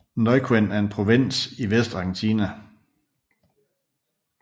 Neuquén er en provins vest i Argentina